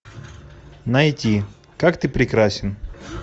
найти как ты прекрасен